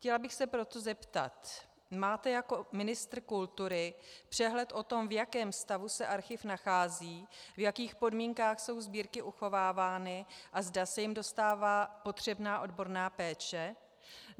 Chtěla bych se proto zeptat: Máte jako ministr kultury přehled o tom, v jakém stavu se archiv nachází, v jakých podmínkách jsou sbírky uchovávány a zda se jim dostává potřebná odborná péče?